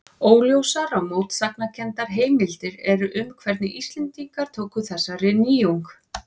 Óljósar og mótsagnakenndar heimildir eru um hvernig Íslendingar tóku þessari nýjung.